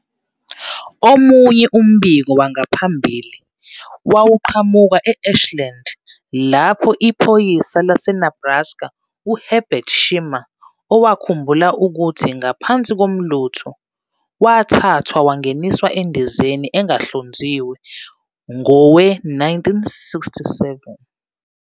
Omunye umbiko wangaphambili wawuqhamuka eAshland, lapho iphoyisa laseNebraska uHerbert Schirmer, owakhumbula ukuthi ngaphansi komlutho wathathwa wangeniswa endizeni engahlonziwe ngowe-1967